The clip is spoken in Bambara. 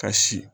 Ka si